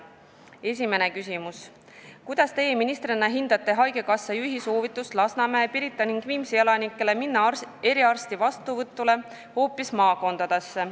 Esimene küsimus: "Kuidas Teie ministrina hindate haigekassa juhi soovitust Lasnamäe, Pirita ning Viimsi elanikele minna eriarsti vastuvõtule hoopis maakondadesse?